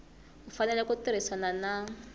u fanele ku tirhisana na